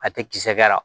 A tɛ kisɛ kɛ la